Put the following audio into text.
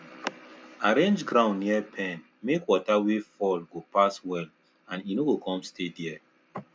arrange ground near pen make water wey fall go pass well and e no come stay there